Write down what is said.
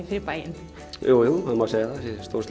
fyrir bæinn jújú það má segja að það sé stór